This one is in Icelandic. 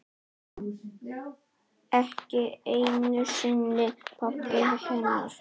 Ekki einu sinni pabbi hennar.